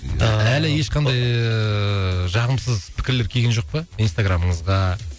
ааа әлі ешқандай ыыы жағымсыз пікірлер келген жоқ па инстаграмыңызға